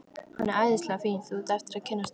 Hann er æðislega fínn. þú átt eftir að kynnast honum.